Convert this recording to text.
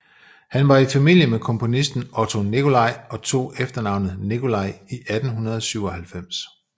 Han var i familie med komponisten Otto Nicolai og tog efternavnet Nicolai i 1897